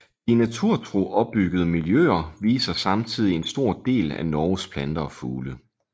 De naturtro opbyggede miljøer viser samtidig en stor del af Norges planter og fugle